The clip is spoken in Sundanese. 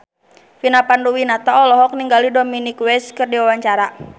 Vina Panduwinata olohok ningali Dominic West keur diwawancara